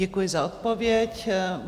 Děkuji za odpověď.